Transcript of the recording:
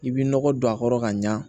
I bɛ nɔgɔ don a kɔrɔ ka ɲa